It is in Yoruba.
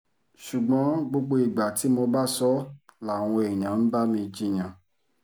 ṣùgbọ́n gbogbo ìgbà tí mo bá sọ ọ́ làwọn èèyàn ń bá mi jiyàn